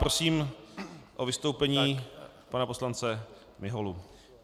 Prosím o vystoupení pana poslance Miholu.